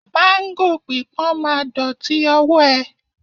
Máńgò pípọ́n ma dọ̀tí ọwọ́ ẹ